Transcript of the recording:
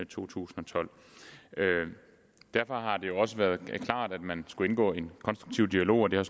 to tusind og tolv derfor har det også været klart at man skulle indgå i en konstruktiv dialog og det har